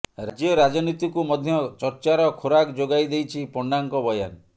ରାଜ୍ୟ ରାଜନୀତିକୁ ମଧ୍ୟ ଚର୍ଚ୍ଚାର ଖୋରାକ ଯୋଗାଇଦେଇଛି ପଣ୍ଡାଙ୍କ ବୟାନ